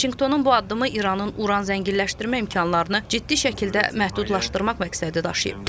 Vaşinqtonun bu addımı İranın uran zənginləşdirmə imkanlarını ciddi şəkildə məhdudlaşdırmaq məqsədi daşıyıb.